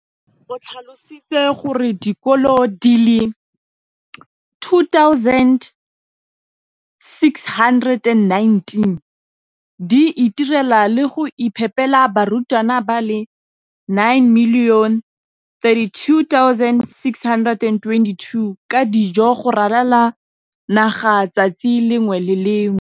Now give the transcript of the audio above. o tlhalositse gore dikolo di le 20 619 di itirela le go iphepela barutwana ba le 9 032 622 ka dijo go ralala naga letsatsi le lengwe le le lengwe.